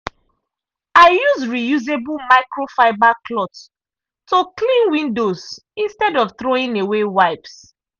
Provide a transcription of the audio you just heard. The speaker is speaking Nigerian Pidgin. i use reusable microfiber cloths to clean windows instead of throwing away wipes.